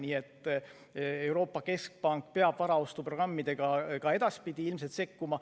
Nii et Euroopa Keskpank peab varaostuprogrammidega ka edaspidi ilmselt sekkuma.